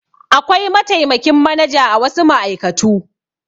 Akwai mataimakin manaja a wasu ma'aikatu.